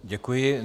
Děkuji.